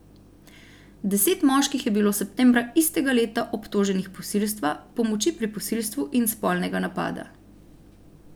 Deset moških je bilo septembra istega leta obtoženih posilstva, pomoči pri posilstvu in spolnega napada.